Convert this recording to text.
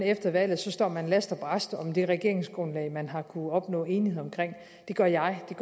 efter valget står last og brast om det regeringsgrundlag man har kunnet opnå enighed om det gør jeg og